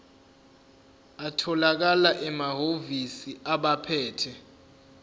atholakala emahhovisi abaphethe